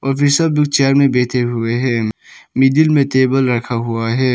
अभी सब लोग चेयर में बैठे हुए हैं मिडिल में टेबल रखा हुआ है।